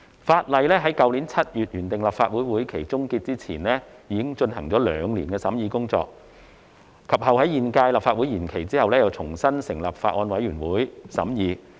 《條例草案》於去年7月原訂立法會會期終結前，已進行了兩年的審議工作，及後在現屆立法會延任後，重新成立法案委員會再度審議。